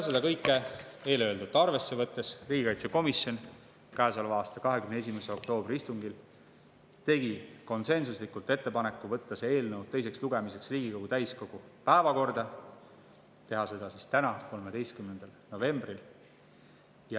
Ja kõike eelöeldut arvesse võttes, tegi riigikaitsekomisjon käesoleva aasta 21. oktoobri istungil konsensuslikult ettepaneku võtta see eelnõu teiseks lugemiseks Riigikogu täiskogu päevakorda – teha seda siis täna – 13. novembril.